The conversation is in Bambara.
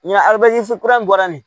Nga a be jis kura in bɔra nin